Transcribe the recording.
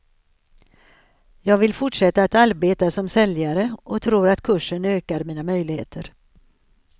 Jag vill fortsätta att arbeta som säljare och tror att kursen ökar mina möjligheter.